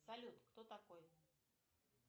салют кто такой